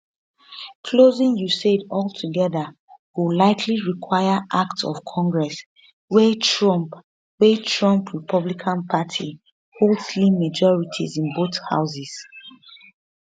closing usaid altogeda go likely require act of congress wia trump wia trump republican party hold slim majorities in both houses